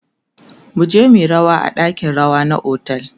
muje muyi rawa a ɗakin rawa na otel